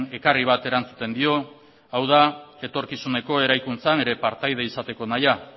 ekarri bati erantzuten dio hau da etorkizuneko eraikuntzan partaide izateko nahia